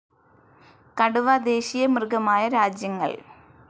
കടുവ ദേശീയ മൃഗമായ രാജ്യങ്ങൾ